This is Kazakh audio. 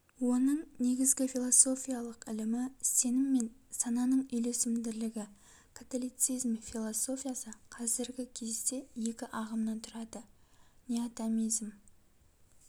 оның негізгі философиялык ілімі сенім мен сананың үйлесімділігі католицизм философиясы казіргі кезде екі ағымнан тұрады неотомизм